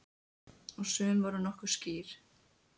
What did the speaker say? Og sum voru nokkuð skýr.